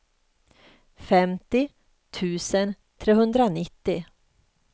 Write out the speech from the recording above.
femtio tusen trehundranittio